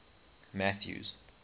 mathews